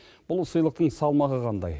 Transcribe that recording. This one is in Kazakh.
бұл сыйлықтың салмағы қандай